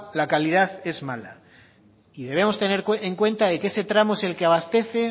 la calidad es mala y debemos tener en cuenta de que ese tramo es el que abastece